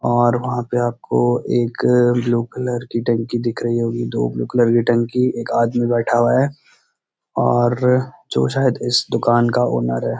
और वहाँ पे आपको एक ब्‍लू कलर की टंकी दिख रही होगी दो ब्‍लू कलर की टंकी एक आदमी बैठा हुआ है और जो शायद इस दुकान का ऑनर है।